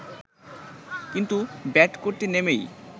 কিন্তু ব্যাট করতে নেমেই